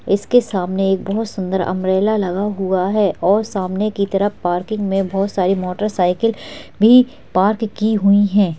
इसके सामने एक बहोत सुंदर अम्ब्रेला लगा हुआ है और सामने की तरफ पार्किंग में बहोत सारी मोटरसाइकिल भी पार्क की हुई है।